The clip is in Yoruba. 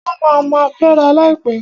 Wọ́n ma ma fęra láìpẹ́.